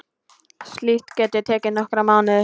Slíkt geti tekið nokkra mánuði.